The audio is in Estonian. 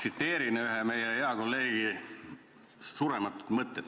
Ma tsiteerin ühe meie hea kolleegi surematuid mõtteid.